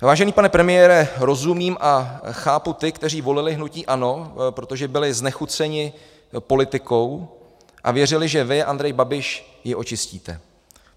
Vážený pane premiére, rozumím a chápu ty, kteří volili hnutí ANO, protože byli znechuceni politikou a věřili, že vy, Andrej Babiš, ji očistíte.